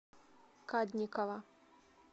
кадникова